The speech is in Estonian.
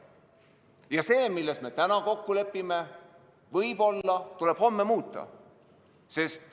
Ja seda, milles me täna kokku lepime, tuleb võib-olla homme muuta.